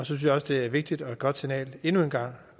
synes jeg også det er et vigtigt og et godt signal endnu en gang